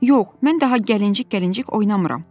Yox, mən daha gəlincik-gəlincik oynamıram.